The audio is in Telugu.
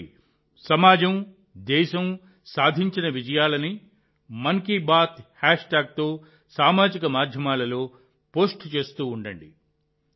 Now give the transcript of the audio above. కాబట్టి సమాజం దేశం సాధించిన విజయాలను మన్ కీ బాత్ హ్యాష్ట్యాగ్ తో సామాజిక మాధ్యమాల్లో పోస్టు చేస్తూ ఉండండి